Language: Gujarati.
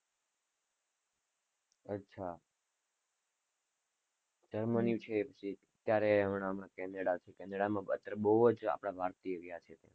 અચ્છા જર્મની છે ક્યારે હમણાં થી કેનેડા થી કેનેડા માં અત્યારે બહુ જ આપણા ભારતીય ગયા છે.